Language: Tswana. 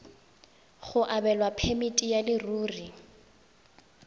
go abelwa phemiti ya leruri